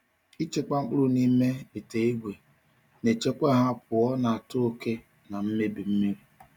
Ịchekwa mkpụrụ n’ime ite ígwè na-echekwa ha pụọ n’ata oke na mmebi mmiri.